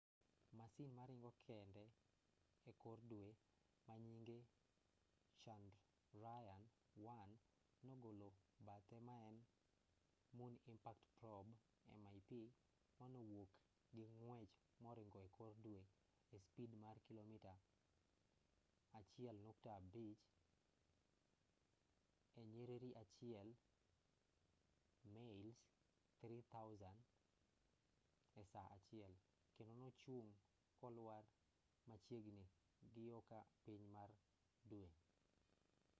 masin maringo kende ekor dwe manyinge chandrayaan-1 nogolo bathe maen moon impact probe mip manowuok ging'wech moringo ekor dwe e spid mar kilomita 1.5 e nyiriri achiel mails 3,000 e saa achiel kendo nochung' kolwar machiegini giyoka piny mar dwe